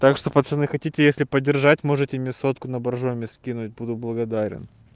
так что пацаны хотите если подержать можете мне сотку на боржоми скинуть буду благодарен